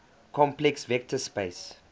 complex vector space